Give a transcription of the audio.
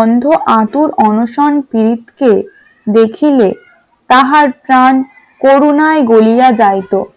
অন্ধ আতুর অনশন পিরিতকে দেখিলে তাহার প্রাণ করুণায় গলিয়া যাইতো ।